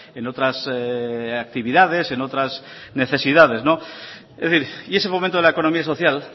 en otras actividades en otras necesidades es decir y ese momento de la economía social